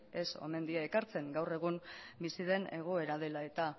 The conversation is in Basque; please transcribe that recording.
ez omen die ekartzen gaur egun bizi den egoera dela eta